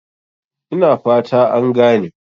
Ina fata an gane?